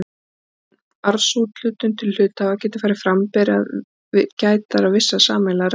Áður en arðsúthlutun til hluthafa getur farið fram ber að gæta vissra sameiginlegra reglna.